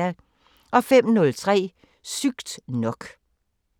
05:03: Sygt nok